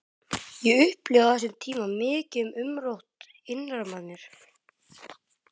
Ég upplifði á þessum tíma mikið umrót innra með mér.